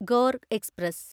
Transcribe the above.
Gorr express